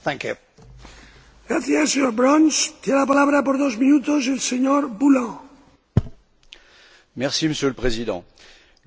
Monsieur le Président, le Médiateur européen procède avec brio à des enquêtes sur des plaintes dirigées contre les institutions et organes de l'Union européenne.